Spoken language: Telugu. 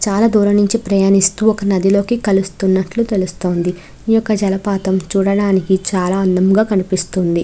చాలా దూరం నుండి ప్రయాణిస్తూ ఒక నది లో కలుస్తున్నటు తెలుస్తుంది. ఈ ఒక్క జలపాతం చూడడానికి చాలా అందంగా కనిపిస్తుంది.